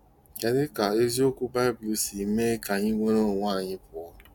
Kedu ka eziokwu Bible si mee ka anyị nwere onwe anyị pụọ